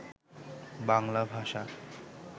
বাংলাভাষা